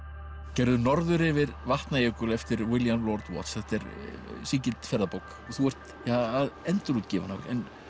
gerður Norður yfir Vatnajökul eftir William lord þetta er sígild ferðabók þú ert að endurútgefa hana